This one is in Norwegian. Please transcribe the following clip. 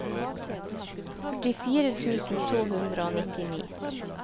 førtifire tusen to hundre og nittini